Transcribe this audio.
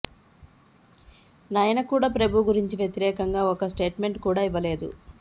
నయన కూడా ప్రభు గురించి వ్యతిరేకంగా ఒక్క స్టేట్మెంట్ కూడా ఇవ్వలేదు